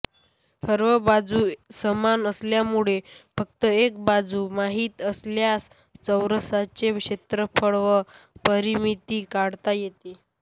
सर्व बाजू समान असल्यामूळे फक्त एक बाजू माहीत असल्यास चौरसाचे क्षेत्रफळ व परिमीति काढता येते